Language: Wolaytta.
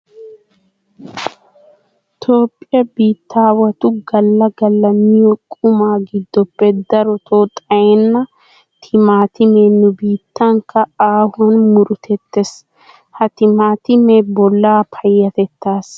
Toophphiya biittaawatu galla galla miyo qumaa giddoppe darotoo xayenna timaatimee nu biittankka aahuwan murutettees. Ha timaatimee bollaa payyatettaassi gita maaduwa immees.